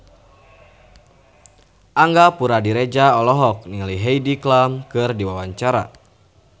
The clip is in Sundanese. Angga Puradiredja olohok ningali Heidi Klum keur diwawancara